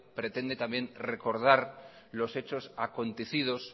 pretende también recordar los hechos acontecidos